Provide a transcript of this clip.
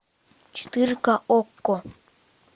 четыре ка окко